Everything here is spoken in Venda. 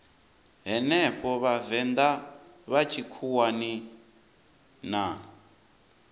henefho vhavenḓa vha tshikhuwani na